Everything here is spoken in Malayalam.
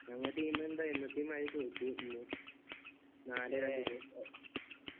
ഞങ്ങളെ team എന്തായി എന്നത്തേയുംമാരി തോറ്റു ഇന്നു